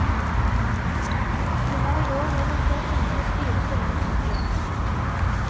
De har i år gjennomført tidenes dyreste lønnsoppgjør.